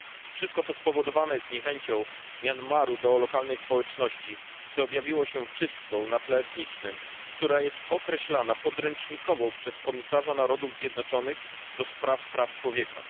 Wszystko to spowodowane jest niechęcią Myanmaru do lokalnej społeczności, co objawiło się czystką na tle etnicznym, która jest określana jako podręcznikowa przez Wysokiego Komisarza Narodów Zjednoczonych do Spraw Praw Człowieka.